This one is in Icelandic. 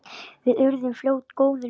Við urðum fljótt góðir vinir.